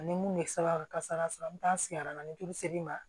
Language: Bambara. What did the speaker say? Ani mun bɛ saba kasara sɔrɔ an bɛ taa sigi a na ni joli ser'i ma